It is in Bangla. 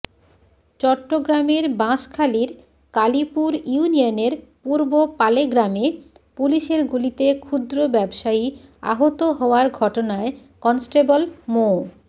চট্টগ্রামের বাঁশখালীর কালীপুর ইউনিয়নের পূর্ব পালেগ্রামে পুলিশের গুলিতে ক্ষুদ্র ব্যাবসায়ী আহত হওয়ার ঘটনায় কনস্টেবল মো